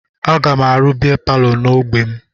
Aga m arụ bịa palọ n'ogbe m